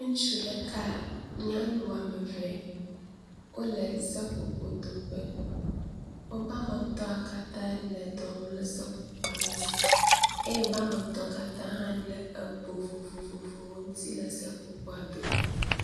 ŋutsu ɖeka nyanu woameve wóle seƒoƒo doƒe woƒa metɔ̃ katã le dɔwɔm le seƒoƒoa ŋuti eye woba metɔ katã le bo vovovowo ŋuti le seƒoƒoa doƒe